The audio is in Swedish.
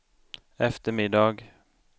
eftermiddag